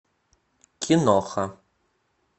киноха